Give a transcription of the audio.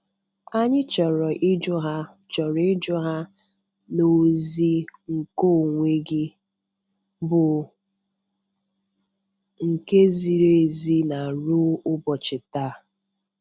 Anyị chọrọ iji hụ chọrọ iji hụ na ozi nkeonwe gị bụ nke ziri ezi na ruo ụbọchị taa.